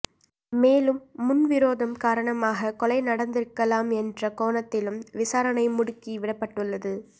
மேலும் முன்விரோதம் காரணமாக கொலை நடந்திருக்கலாம் என்ற கோணத்திலும் விசாரணை முடுக்கிவிடப்பட்டுள்ளது